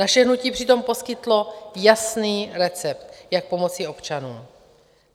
Naše hnutí přitom poskytlo jasný recept, jak pomoci občanům.